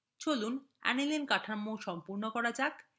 চলুন aniline কাঠামো সম্পূর্ণ করা যাক